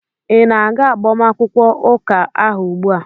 ị na-aga agbamakwụkwọ ụka ahụ ugbua?